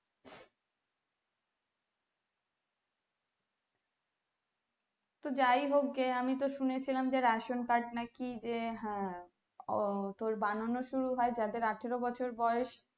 তো যাই হোকগে আমি তো শুনে ছিলাম যে ration card নাকি যে হ্যাঁ ও তোর বানানো শুরু হয় যে যাদের আঠেরো বছর বয়েস